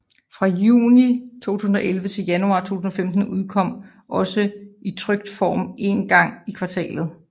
Fra juni 2011 til januar 2015 udkom det også i trykt form en gang i kvartalet